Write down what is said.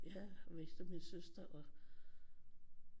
Jeg mister min søster og